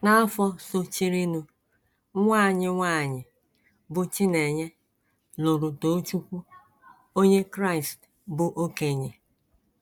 N’afọ sochirinụ, nwa anyị nwanyị, bụ́ Chinenye, lụrụ Tochukwu, Onye Kraịst bụ́ okenye.